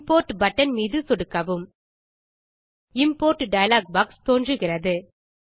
import button மீது சொடுக்கவும் import dialog box தோன்றுகிறது